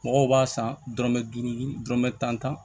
Mɔgɔw b'a san dɔrɔmɛ duuru dɔrɔmɛ tan